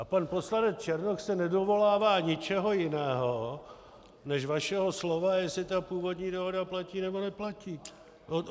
A pan poslanec Černoch se nedovolává ničeho jiného než vašeho slova, jestli ta původní dohoda platí, nebo neplatí.